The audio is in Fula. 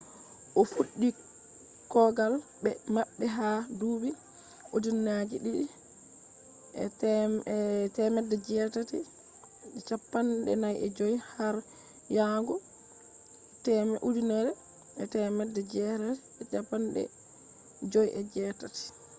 o fuddi kogal be mabbe ha dubi 1945 har yahugo 1958